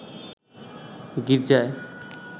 গির্জায়